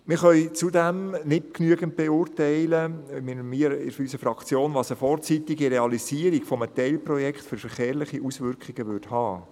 Wir in unserer Fraktion können zudem nicht genügend beurteilen, was eine vorzeitige Realisierung eines Teilprojekts für verkehrliche Auswirkungen hätte.